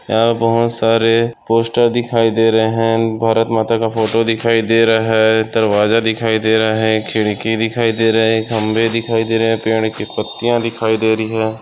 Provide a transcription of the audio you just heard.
यहाँ बहुत सारे पोस्टर दिखाई दे रहे है भारत माता का फोटो दिखाई दे रहा है दरवाजा दिखाई दे रहा है खिड़की दिखाई दे रहे खंबे दिखाई दे रहे पेड़ के पत्तिया दिखाई दे रही है।